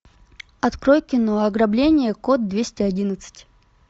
открой кино ограбление код двести одиннадцать